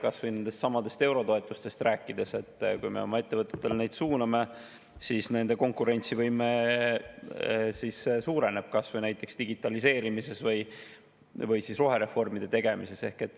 Kas või nendestsamadest eurotoetustest rääkides: kui me oma ettevõtetele neid suuname, siis nende konkurentsivõime suureneb, näiteks digitaliseerimiseks või rohereformide tegemiseks.